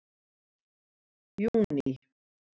júní